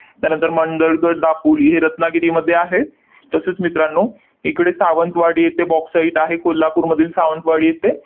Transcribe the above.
त्यानंतर मांडळगड, दापोली हे रत्नागिरीमध्ये आहे. तसेच मित्रांनो, इकडे सावंतवाडी इथे bauxite आहे, कोल्हापूरमधील सावंतवाडी इथे.